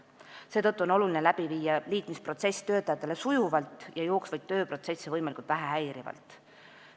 Seetõttu on oluline viia liitmisprotsess läbi sujuvalt ja jooksvaid tööprotsesse võimalikult vähe häirivalt.